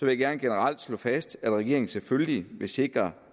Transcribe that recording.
jeg gerne generelt slå fast at regeringen selvfølgelig vil sikre